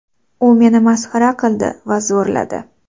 U meni masxara qildi va zo‘rladi.